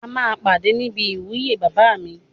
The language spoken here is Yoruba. A máa pàdé ní ibi ìwúyè bàbá mi